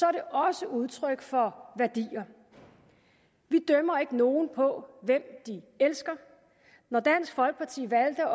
er det også udtryk for værdier vi dømmer ikke nogen på hvem de elsker når dansk folkeparti valgte